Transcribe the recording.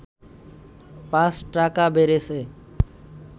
৫ টাকা বেড়েছে